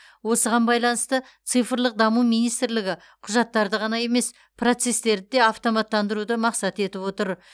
осыған байланысты цифрлық даму министрлігі құжаттарды ғана емес процестерді де автоматтандыруды мақсат етіп отыр